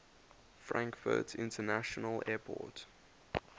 frankfurt international airport